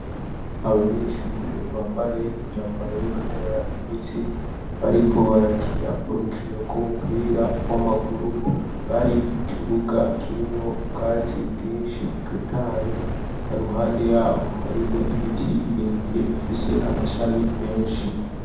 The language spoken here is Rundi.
Abanyeshure bambaye imyambaro yuko enenera imitsi bariko barakina urukino rw'umupira w'amaguru bari mu kibuga kirimwo ubwatsi bwinshi butotaye haruhande yaho hariho ibiti birebire bifise amashami menshi.